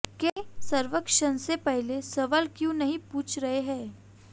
के सर्वेक्षण से पहले सवाल क्यों नहीं पूछ रहे थे